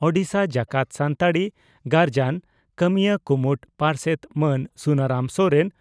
ᱳᱰᱤᱥᱟ ᱡᱟᱠᱟᱛ ᱥᱟᱱᱛᱟᱲᱤ ᱜᱟᱨᱡᱟᱱ ᱠᱟᱹᱢᱤᱭᱟᱹ ᱠᱩᱢᱩᱴ ᱯᱟᱨᱥᱮᱛ ᱢᱟᱱ ᱥᱩᱱᱟᱨᱟᱢ ᱥᱚᱨᱮᱱ